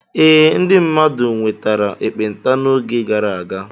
Ee, ndị mmadụ nwetara ekpenta n'oge gara aga.